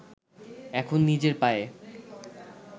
এখন নিজের পায়ে